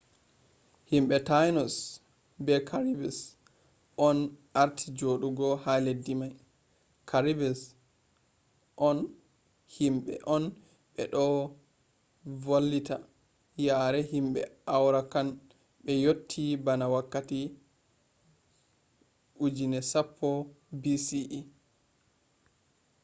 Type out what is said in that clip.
himbe tainos be caribes on arti jodugo ha leddi mai. caribes himbe on beno volata yare himbe arawakan be yotti bana wakkati 10,000 bce